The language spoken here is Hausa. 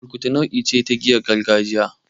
Burkutu nau'i ce ta giyar gargajiya.